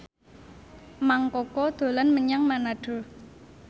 Mang Koko dolan menyang Manado